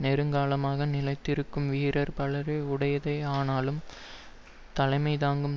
நெடுங்காலமாக நிலைத்திருக்கும் வீரர் பலரை உடையதே ஆனாலும் தலைமைதாங்கும்